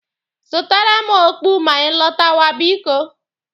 Zụtara m okpu ma ị lọtawa biko.